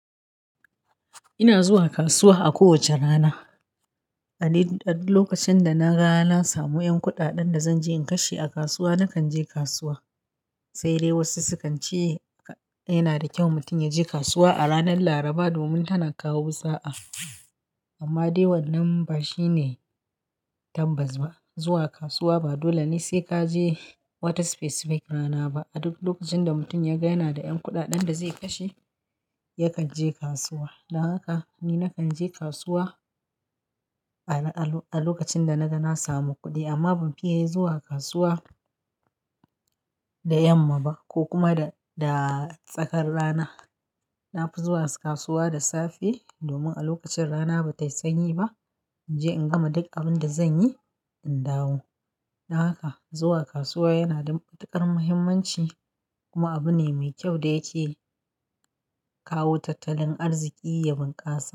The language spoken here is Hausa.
Ina zuwa kasuwa a kowace rana. A duk lokacin da na ga na samu 'yan kuɗaɗen da zan je in kashe a kasuwa, na kan je kasuwa. Sai dai wasu su kan ce yana da kyau mutum ya je kasuwa a ranar Laraba domin tana kawo sa'a. Amma dai wannan ba shi ne tabbas ba. Zuwa kasuwa ba dole ne sai ka je wata specific rana ba. A duk lokacin da mutum ya ga yana da 'yan kuɗaɗen da zai kashe, ya kan je kasuwa. Don haka ni na kan je kasuwa a lokacin da na ga na samu kuɗi amma ban fiye zuwa kasuwa da yamma ba ko kuma da tsakar rana. Na fi zuwa kasuwa da safe domin a lokacin rana ba ta yi sanyi ba. In je in gama duk abin da zan yi, in dawo. Don haka zuwa kasuwa yana da matuƙar muhimmanci kuma abu ne mai kyau da yake kawo tattalin arziki ya bunƙasa.